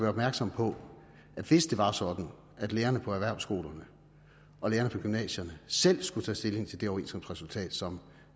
opmærksom på at hvis det var sådan at lærerne på erhvervsskolerne og lærerne på gymnasierne selv skulle tage stilling til det overenskomstresultat som